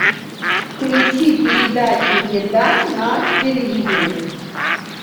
включи передачу еда на телевизоре